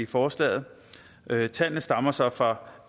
forslaget tallene stammer så fra